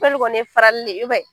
Telu kɔni ye farali de yen